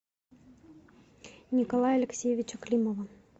николая алексеевича климова